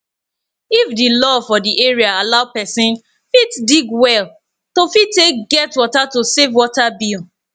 if di law for di area allow person fit dig well to fit take get water to save water bill